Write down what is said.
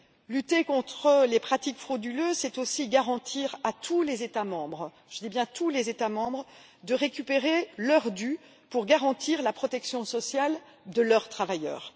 Lutter contre les pratiques frauduleuses, c'est aussi garantir à tous les États membres je dis bien tous les États membres de récupérer leur dû pour garantir la protection sociale de leurs travailleurs.